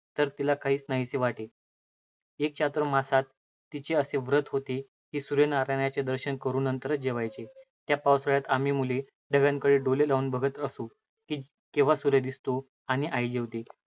तर तिला काहीच नाहीसे वाटे. एक चातुर्मास्यात तिचे असे व्रत होते की सूर्यनारायणाचे दर्शन करून नंतरच जेवावयाचे. त्या पावसाळयात आम्ही मुले ढगांकडे डोळे लावून पाहत राहत असू की केव्हा सूर्य दिसतो आणि आई जेवते.